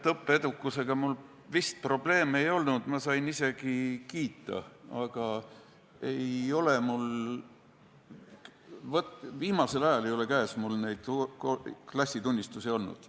Õppeedukusega mul vist probleeme ei olnud, ma sain isegi kiita, aga viimasel ajal ei ole mul neid klassitunnistusi käes olnud.